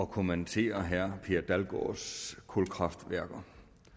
kommentere herre per dalgaards tale kulkraftværker